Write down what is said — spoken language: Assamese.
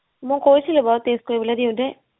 মোক কৈছিলো বাৰু test কৰিবলে দিওতে